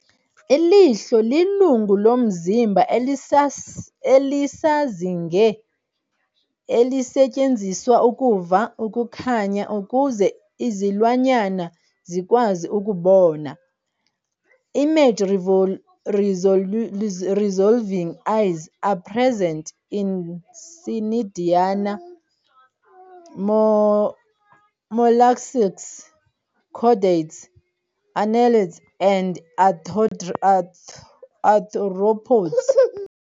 I lihlo lingungu lomzimba elisisazinge elisetyenziswa ukuva ukukhanya ukuze izilwanyana zikwazi ukubona. Image-resolving eyes are present in cnidaria, molluscs, chordates, annelids and arthropods.